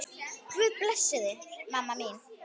Guð blessi þig, mamma mín.